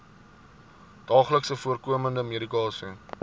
daagliks voorkomende medikasie